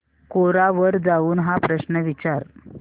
कोरा वर जाऊन हा प्रश्न विचार